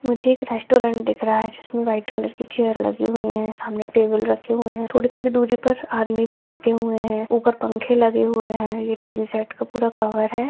मुझे एक रेस्टोरेंट दिख रहा है जिसमें व्हाइट कलर की चेय लगी हुई है सामने टेबल रखे हुए है थोड़ी-थोड़ी दुरी पे आदमी भी बैठे हुए है ऊपर पंखे लगे हुए है ये टीन शेड का पूरा कवर है।